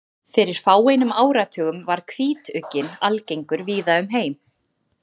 Fyrir fáeinum áratugum var hvítugginn algengur víða um heim.